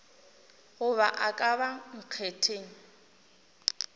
goba a ka ba nkgetheng